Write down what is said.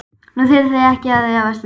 Nú þurfið þið ekki að efast lengur.